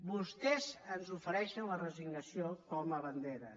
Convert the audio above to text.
vostès ens ofereixen la resignació com a bandera